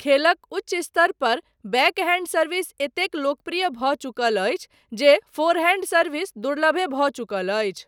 खेलक उच्च स्तर पर बैकहैंड सर्विस एतेक लोकप्रिय भऽ चुकल अछि जे फोरहैंड सर्विस दुर्लभे भऽ चुकल अछि।